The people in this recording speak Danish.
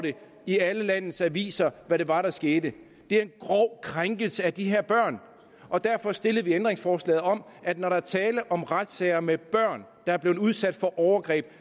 i alle landets aviser hvad det var der skete det er en grov krænkelse af de her børn og derfor stillede vi ændringsforslaget om at når der er tale om retssager med børn der har været udsat for overgreb